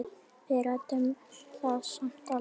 Við ræddum það samt aldrei.